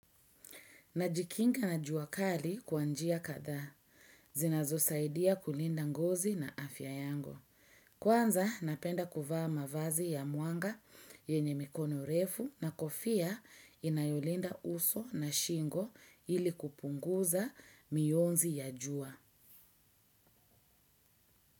Najikinga na jua kali kwa njia kadhaa. Zinazosaidia kulinda ngozi na afya yangu. Kwanza napenda kuvaa mavazi ya mwanga yenye mikono refu na kofia inayolinda uso na shingo ili kupunguza mionzi ya jua.